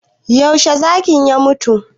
Yaushe zakin ya mutu?